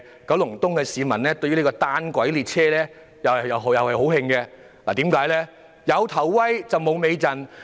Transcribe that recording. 九龍東的居民對於單軌列車感到非常氣憤，因為這項建議"有頭威，無尾陣"。